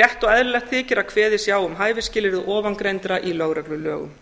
rétt og eðlilegt þykir að kveðið sé á um hæfi skilyrði ofangreindra í lögreglulögum